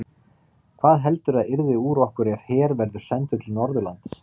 Hvað heldurðu að yrði úr okkur ef her verður sendur til Norðurlands?